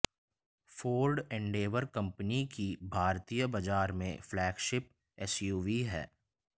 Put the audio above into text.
Ford Endeavour company की भारतीय बाजार में फ्लैगशिप एसयूवी है